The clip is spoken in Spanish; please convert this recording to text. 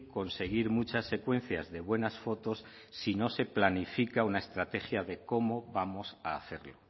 conseguir muchas secuencias de buenas fotos si no se planifica una estrategia de cómo vamos a hacerlo